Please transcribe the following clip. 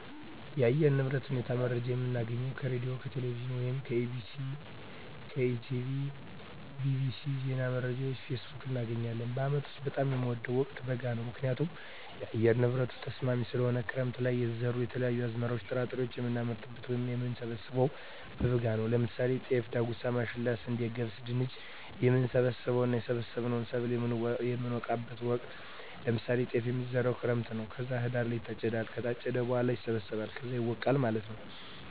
የአየር ንብረት ሁኔታ መረጃ የምናገኘው ከሬድዬ፣ ከቴሌቪዥን ወይም ከEBctv፣ ከETB tv፣ bbc፣ ዜና መረጃ፣ ፌስቡክ፣ እናገኛለን። በአመት ውስጥ በጣም የምወደው ወቅት በጋ ነው ምክንያቱም የአየር ንብረቱ ተስማሚ ስለሆነ፣ ክረምት ለይ የተዘሩ የተለያዩ አዝመራዎች ጥራጥሬዎችን የምናመርትበት ወይም የምንሰብበው በበጋ ነው ለምሳሌ ጤፍ፣ ዳጉሳ፣ ማሽላ፣ ስንዴ፣ ገብስ፣ ድንች፣ የምንሰበስብበት እና የሰበሰብነውን ሰብል የምነወቃበት ወቅት ነው ለምሳሌ ጤፍ የሚዘራው ክረምት ነው ከዛ ህዳር ላይ ይታጨዳል ከታጨደ በኋላ ይሰበሰባል ከዛ ይወቃል ማለት ነው።